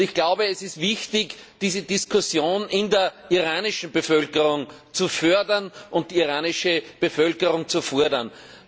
Ich glaube, es ist wichtig, diese Diskussion in der iranischen Bevölkerung zu fördern und die iranische Bevölkerung zu fordern.